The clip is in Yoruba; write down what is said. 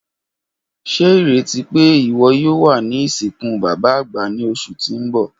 Ṣe ireti pe iwọ yoo wa ni isinku baba agba ni oṣu ti n bọ.